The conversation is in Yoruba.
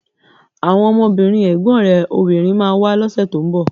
Àwọn ọmọbìnrin ẹ̀gbọ́n rẹ̀ obìnrin ma wá lọ́sẹ̀ tó ń bọ̀